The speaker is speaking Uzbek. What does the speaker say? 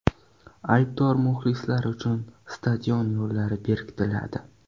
Aybdor muxlislar uchun stadion yo‘llari berkitiladi.